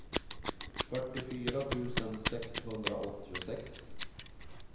fyrtiofyra tusen sexhundraåttiosex